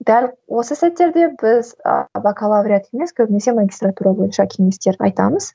дәл осы сәттерде біз ы бакалавриат емес көбінесе магистратура бойынша кеңістер айтамыз